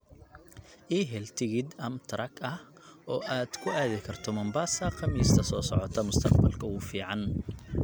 ii hel tigidh amtrak ah oo aad ku aadi karto mombasa khamiista soo socota mustaqbalka ugu fiican